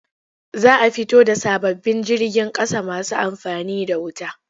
Za a fito da sababbin jirgin ƙasa masu amfani da wuta.